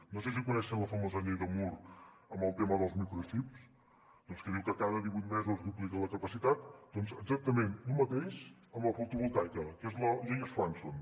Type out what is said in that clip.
no sé si coneixen la famosa llei de moore amb el tema dels microxips que diu que cada divuit mesos se’n duplica la capacitat doncs exactament el mateix amb la fotovoltaica que és la llei de swanson